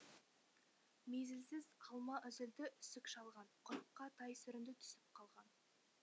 мезілсіз алма үзілді үсік шалған құрыққа тай сүрінді түсіп қалған